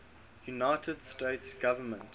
united states government